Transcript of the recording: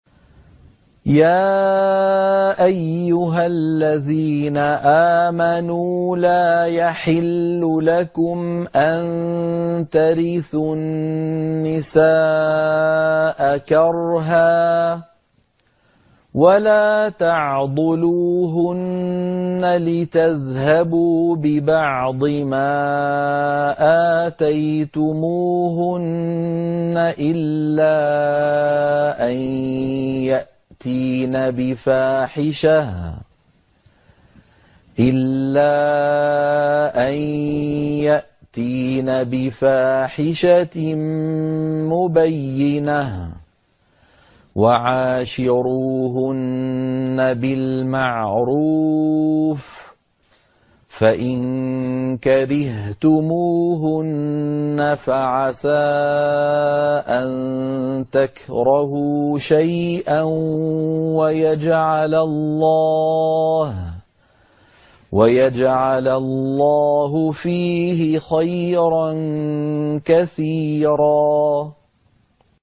يَا أَيُّهَا الَّذِينَ آمَنُوا لَا يَحِلُّ لَكُمْ أَن تَرِثُوا النِّسَاءَ كَرْهًا ۖ وَلَا تَعْضُلُوهُنَّ لِتَذْهَبُوا بِبَعْضِ مَا آتَيْتُمُوهُنَّ إِلَّا أَن يَأْتِينَ بِفَاحِشَةٍ مُّبَيِّنَةٍ ۚ وَعَاشِرُوهُنَّ بِالْمَعْرُوفِ ۚ فَإِن كَرِهْتُمُوهُنَّ فَعَسَىٰ أَن تَكْرَهُوا شَيْئًا وَيَجْعَلَ اللَّهُ فِيهِ خَيْرًا كَثِيرًا